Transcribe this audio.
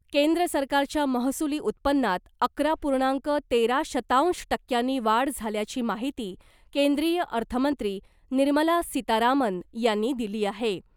केंद्र सरकारच्या महसूली उत्पन्नात अकरा पूर्णांक तेरा शतांश टक्क्यांनी वाढ झाल्याची माहिती केंद्रीय अर्थमंत्री निर्मला सीतारामन यांनी दिली आहे .